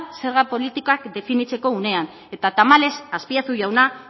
zerga politikak definitzeko unean eta tamalez azpiazu jauna